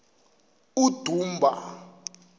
udumba